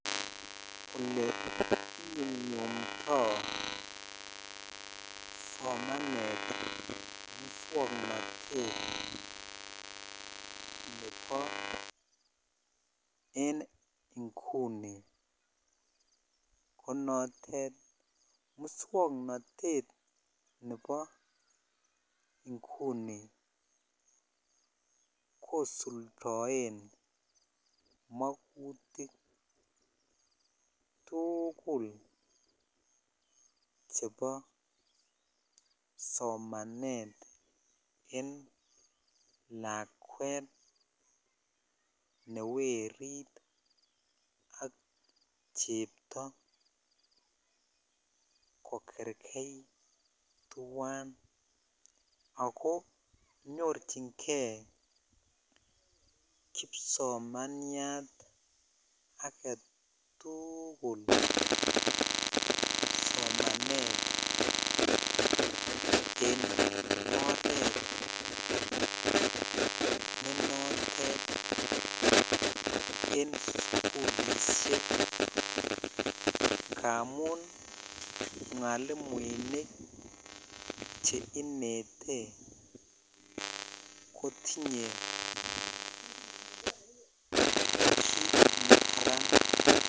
Ole inyumnyumdoi somanet muswoknotet nebo en inguni ko notet muswoknotet nebo inguni kosuldoen mokutik tukul chebo somanet ab lakwet ne werit ak cheptoo kokerjeit tuan ako nyichin kei kipsomannyat agetukul sonanet en oret ne notet en sukulishek amun mwalimuinik che inete kotunye nekararan en kipsomaninik.